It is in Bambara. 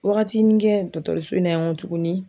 Waagatinin kɛ dɔŋtɔrɔso in na yan nko tugunni.